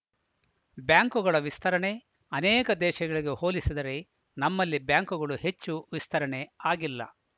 ಬ್ಯಾಂಕುಗಳ ವಿಸ್ತರಣೆ ಅನೇಕ ದೇಶಗಳಿಗೆ ಹೋಲಿಸಿದರೆ ನಮ್ಮಲ್ಲಿ ಬ್ಯಾಂಕುಗಳು ಹೆಚ್ಚು ವಿಸ್ತರಣೆ ಆಗಿಲ್ಲ